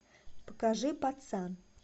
покажи пацан